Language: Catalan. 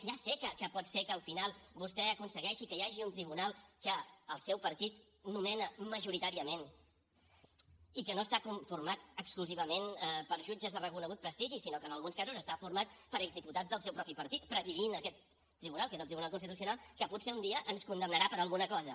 ja sé que pot ser que al final vostè aconsegueixi que hi hagi un tribunal que el seu partit nomena majoritàriament i que no està conformat exclusivament per jutges de reconegut prestigi sinó que en alguns casos està format per exdiputats del seu mateix partit i presideixen aquest tribunal que és el tribunal constitucional que potser un dia ens condemnarà per alguna cosa